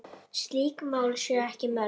Slík mál séu ekki mörg.